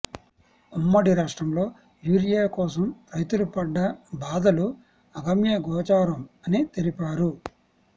ఉమ్మడి రాష్ట్రంలో యూరియ కోసం రైతులు పడ్డ బాధలు అగమ్య గోచారం అని తెలిపారు